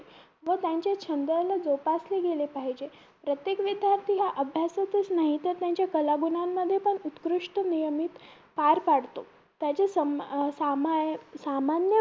व त्यांचे छंदाला जोपासले गेले पाहिजे प्रत्येक विध्यार्थी हा अभ्यासातच नाही तर त्यांच्या कलागुणांमध्ये पण उत्कृष्ट नियमित पार पाडतो त्याच्या सम सामान्य सामान्य